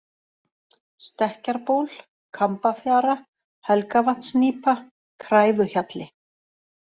Stekkjarból, Kambafjara, Helgavatnsnýpa, Kræfuhjalli